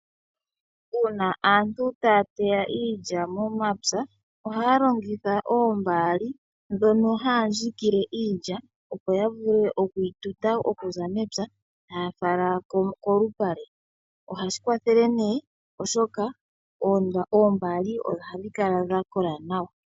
Uuna aantu taya teya iilya momapya ohaya longitha oombaali dhono haya dhikile iilya opo ya vule okuyi tuta okuza mepya, taya fala kolupale. Ohashi kwathele, oshoka oombaali ohadhi kala dha kola nawa.